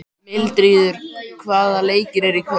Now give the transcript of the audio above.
Mildríður, hvaða leikir eru í kvöld?